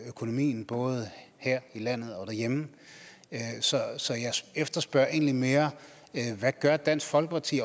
økonomien både her i landet og derhjemme så jeg efterspørger egentlig mere hvad dansk folkeparti